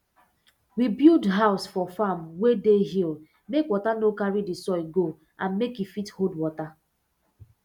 we build house for farm wey dey hill make water no carry d soil go and make e fit hold water